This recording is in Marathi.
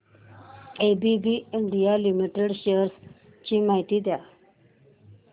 एबीबी इंडिया लिमिटेड शेअर्स ची माहिती द्या